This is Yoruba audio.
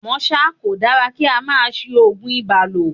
À mọ́ ṣá, kò dára kí á máa ṣí Ògùn ibà lò.